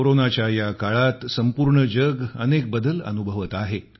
कोरोनाच्या या काळात संपूर्ण जग अनेक बदल अनुभवते आहे